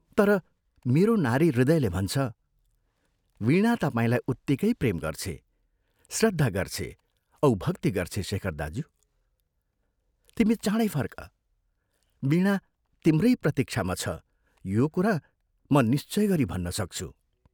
तर मेरो नारी हृदयले भन्छ, वीणा तपाईंलाई उत्तिकै प्रेम गर्छे, श्रद्धा गर्छे औ भक्ति गर्छे शेखर दाज्यू, तिमी चाँडै फर्क, वीणा तिम्रै प्रतीक्षामा छ यो कुरा म निश्चय गरी भन्न सक्छु।